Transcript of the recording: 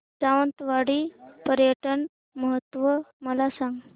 सावंतवाडी पर्यटन महोत्सव मला सांग